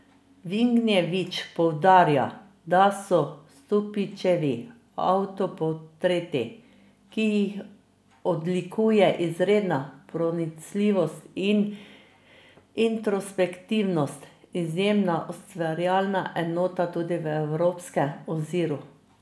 Vignjević poudarja, de so Stupičevi avtoportreti, ki jih odlikuje izredna pronicljivost in introspektivnost, izjemna ustvarjalna enota tudi v evropskem oziru.